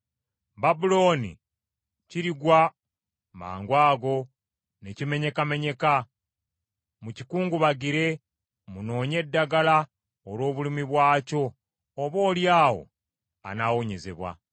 Babulooni kirigwa mangu ago ne kimenyekamenyeka. Mukikungubagire. Munoonye eddagala olw’obulumi bw’akyo oboolyawo anaawonyezebwa.